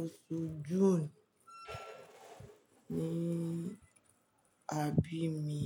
oṣù June ni a bí mi.